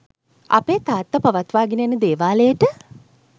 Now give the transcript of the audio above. අපේ තාත්තා පවත්වාගෙන යන දේවාලයට